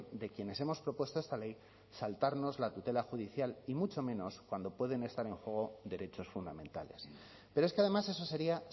de quienes hemos propuesto esta ley saltarnos la tutela judicial y mucho menos cuando pueden estar en juego derechos fundamentales pero es que además eso sería